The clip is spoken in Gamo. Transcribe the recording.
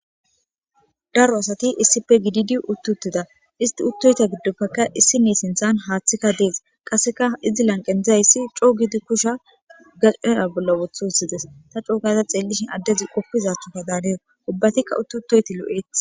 daro asati issippe gididi uttutteda isti uttoyta giddoppekka issi ne sinthan haaththikka dees qasseka izi lanqendzayssi coo gidi kusha gaqaya bolla wothu hussides ta coogaza xeellishin addezi qoppizathokka daanesi ubbatikka uttu toyti lo7eti